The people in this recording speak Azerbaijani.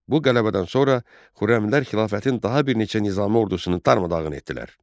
Bu qələbədən sonra Xürrəmlər xilafətin daha bir neçə nizami ordusunu darmadağın etdilər.